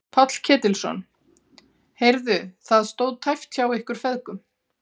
Páll Ketilsson: Heyrðu það stóð tæpt hjá ykkur feðgum?